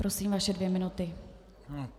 Prosím, vaše dvě minuty.